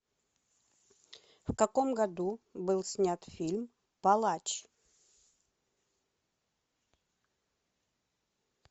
в каком году был снят фильм палач